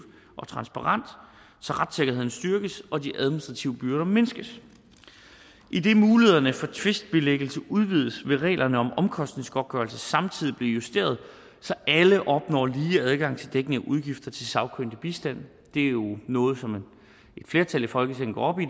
og transparente så retssikkerheden styrkes og de administrative byrder mindskes idet mulighederne for tvistbilæggelse udvides vil reglerne om omkostningsgodtgørelse samtidig blive justeret så alle opnår lige adgang til dækning af udgifter til sagkyndig bistand det er jo noget som et flertal i folketinget går op i